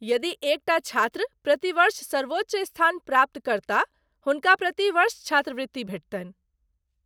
यदि एक टा छात्र प्रति वर्ष सर्वोच्च स्थान प्राप्त करताह, हुनका प्रति वर्ष छात्रवृत्ति भेटतनि।